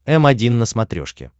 м один на смотрешке